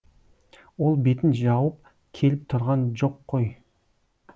ол бетін жауып келіп тұрған жоқ қой